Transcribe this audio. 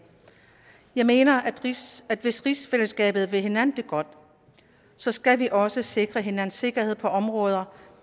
jeg mener at hvis at hvis rigsfællesskabet vil hinanden det godt så skal vi også sikre hinandens sikkerhed på områder